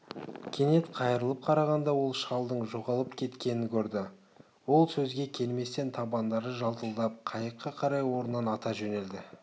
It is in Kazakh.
кенет қайырылып қарағанда ол шалдың жоғалып кеткенін көрді ол сөзге келместен табандары жалтылдап қайыққа қарай орнынан ата жөнелді